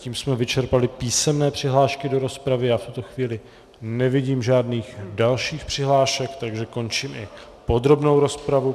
Tím jsme vyčerpali písemné přihlášky do rozpravy a v tuto chvíli nevidím žádných dalších přihlášek, takže končím i podrobnou rozpravu.